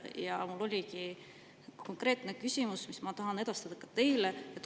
Ja mul ongi küsimus, mille ma tahan esitada ka teile.